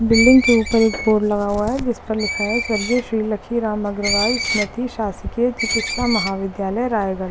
building के ऊपर एक बोर्ड लगा हुआ जिस पर लिखा है स्वर्गीय श्री लक्ष्मी रामअगरवाल स्मारक सासिके चिकित्सा महाविद्यालय रायगढ़--